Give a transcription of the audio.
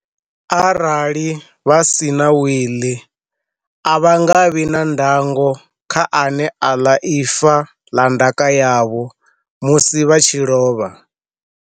Arali vha si na w iḽi a vha nga vhi na ndango kha ane a ḽa ifa ḽa ndaka yavho musi vha tshi lovha.